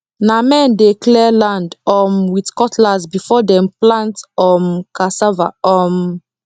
na men dey clear land um with cutlass before dem plant um cassava um